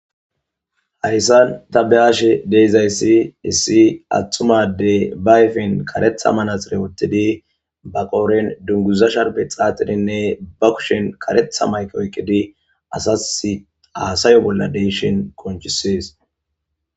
Hayssan ta beyashe dizayssi issi atumma addey ba ayfen kareththa manaxire woththidii ba qodhen dunguza sharbe xaxidinne ba kushen kareththa mayike oykidii asas hassaya bolla de'izayssa qoncisishes